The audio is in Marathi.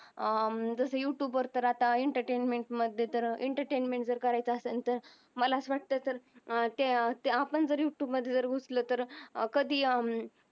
जस युटूब वर अत्ता एंटरटेनमेंट मधे तर एंटरटेनमेंट करायच असेल तर मला अस वाटतंय ते आपण जर युटूब मदल घुसल तर कधी